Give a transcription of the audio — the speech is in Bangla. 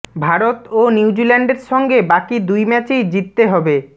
ভারত ও নিউজিল্যান্ডের সঙ্গে বাকি দুই ম্যাচেই জিততে হবে